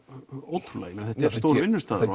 ótrúlega þetta er stór vinnustaður